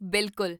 ਬਿਲਕੁਲ!